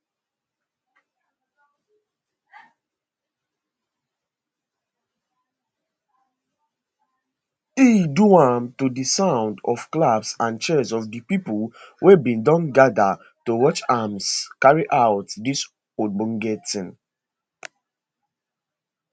he do am to di sound of claps and cheers of di pipo wey bin don gada to watch am carry out dis ogbonge tin